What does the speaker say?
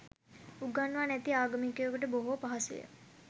උගන්වා නැති ආගමිකයකුට බොහෝ පහසුය